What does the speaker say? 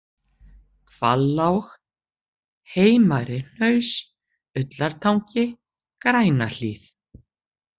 Hvallág, Heimari-Hnaus, Ullartangi, Grænahlíð